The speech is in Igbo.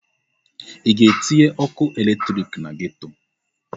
Ị ga-etinye ọkụ eletrik na geto!